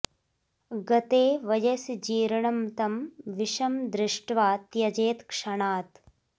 गते वयसि जीर्णं तं विषं दृष्ट्वा त्यजेत् क्षणात्